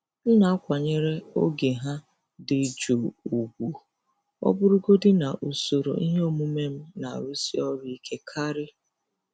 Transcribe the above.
M na-akwanyere oge ha dị jụụ ùgwù, ọ bụrụgodị na usoro ihe omume m na-arụsi ọrụ ike karị.